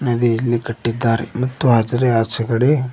ನದಿಯಲ್ಲಿ ಕಟ್ಟಿದ್ದಾರೆ ಮತ್ತು ಅದರ ಆಚೆಗಡೆ--